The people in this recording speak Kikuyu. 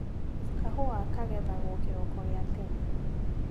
Kahũa kagethagwo kĩroko gia tene.